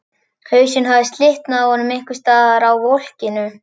Hausinn hafði slitnað af honum einhvers staðar á volkinu.